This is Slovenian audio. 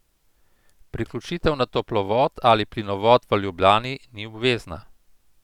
Priključitev na toplovod ali plinovod v Ljubljani ni obvezna.